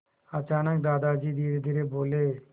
अचानक दादाजी धीरेधीरे बोले